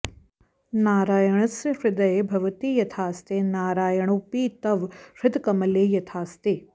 नारायणस्य हृदये भवती यथास्ते नारायणोपि तव हृत्कमले यथास्ते